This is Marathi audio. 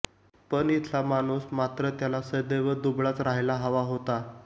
पण इथला माणुस मात्र त्याला सदैव दुबळाच राहायला हवा होता